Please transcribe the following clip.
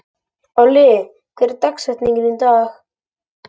Olli, hver er dagsetningin í dag?